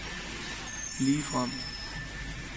ligefrem